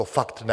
To fakt ne.